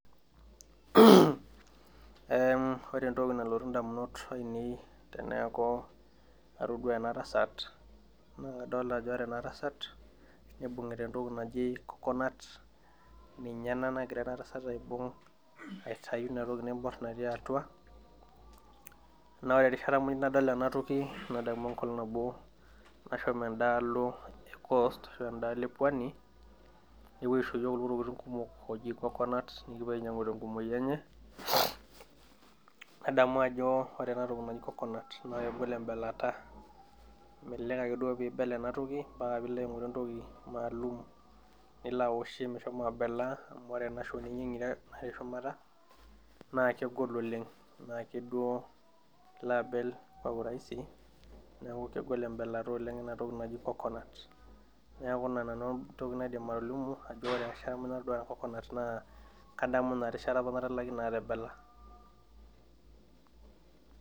Ee ore entoki nalotu damunot ainei teeniki atodua ena tasat, naa kadolta ajo ore ena tasat naibungita entoki naji coconut ninye ena nagira ena tasat aibung' aitayu inatoki naibor natii atua, naa ore erishata pookin nadol ena toki nadamu enkolong' nabo nashomo edaalo e coast ashu edaalo epuonu, nepuo aisho iyiook intokitin naijo coconut nikipuo ainepu tenkumoi enye. nadamu ajo ore ena toki naji coconut naa kegol ebelata , melelek ake duo peeibel enna toki amu ore ena shoji ngiro natii shumata, naa kegol oleng mme ake duo ilo abel Kwa urahisi neeku kegol ebelata oleng ena toki naji coconut neeku in nanu entoki naidim atolimu ajo ore erishata muj natoduo coconut kadamu Ina rishata apa naidim atebela